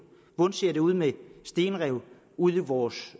ser ud med stenrev ude i vores